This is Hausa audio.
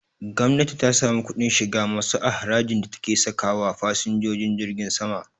Gwamnati ta sami kuɗin shiga masu a harajin da take sakawa fasinjojin jirgin sama